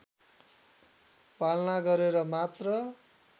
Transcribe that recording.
पालना गरेर मात्र